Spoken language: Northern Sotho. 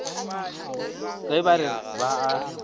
ge ba re ba a